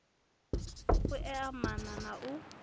u ea maana na u